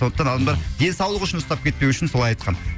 сондықтан адамдар денсаулық үшін ұстап кетпеуі үшін солай айтқан